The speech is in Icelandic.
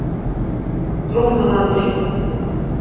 Brúnalandi